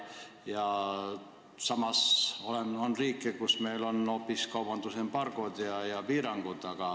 Samas on riike, kelle vastu meil on kehtestatud kaubandusembargod ja -piirangud.